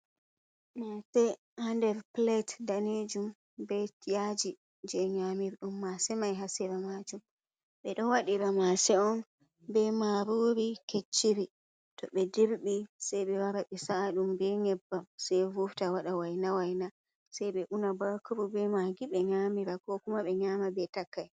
Mase ha nder plate danejum be yaji je nyamirɗum mase mai hasera majum, ɓeɗo wadira mase’on be marori kecciri to be dirbi sei ɓe wara ɓe sa’aɗum be nyebbam sei vufta waɗa waina waina sei ɓe una bakuru, be magi, ɓe nyamira ko kuma ɓe nyama be takai.